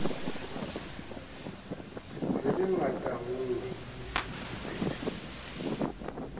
re be ngatanngwe ke pheto